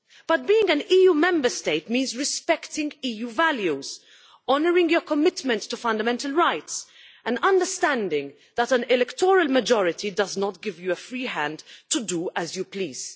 But being an EU Member State means respecting EU values, honouring your commitment to fundamental rights and understanding that an electoral majority does not give you a free hand to do as you please.